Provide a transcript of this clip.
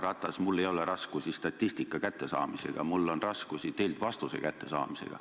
Härra Ratas, mul ei ole raskusi statistika kättesaamisega, mul on raskusi teilt vastuse kättesaamisega.